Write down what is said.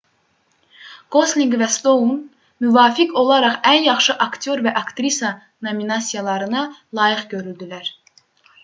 qoslinq və stoun müvafiq olaraq ən yaxşı aktyor və aktrisa nominasiyalarına layiq görüldülər